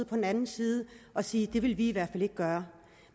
på den anden side og sige det vil vi i hvert fald ikke gøre